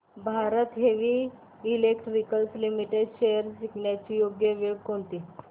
Bharat heavy electricals limited shares विकण्याची योग्य वेळ कोणती